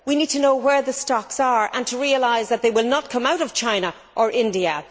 we need to know where the stocks are and to realise that they will not come out of China or India.